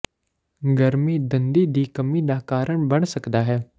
ਗਰਮੀ ਦੰਦੀ ਦੀ ਕਮੀ ਦਾ ਕਾਰਨ ਬਣ ਸਕਦਾ ਹੈ